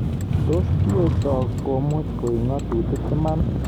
Tos kiotok komuchi koek ngatutirt iman?